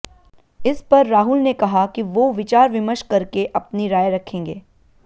इस पर राहुल ने कहा कि वो विचार विमर्श करके अपनी राय रखेंगे